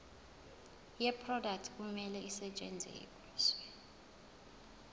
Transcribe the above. yeproduct kumele isetshenziswe